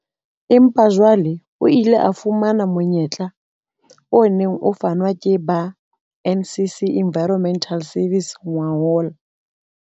Empa jwale o ile a fumana monyetla o neng o fanwa ke ba NCC Environmental Services ngwahola.